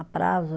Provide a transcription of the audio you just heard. A prazo.